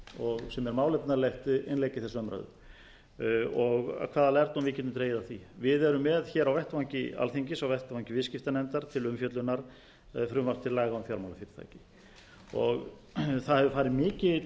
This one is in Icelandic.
fjármálafyrirtækin sem er málefnalegt innlegg í þessa umræðu og hvaða lærdóm við getum dregið af því við erum með hér á vettvangi alþingis á vettvangi viðskiptanefndar til umfjöllunar frumvarp til laga um fjármálafyrirtæki það hefur farið mikil